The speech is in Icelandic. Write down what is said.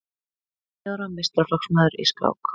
Níu ára meistaraflokksmaður í skák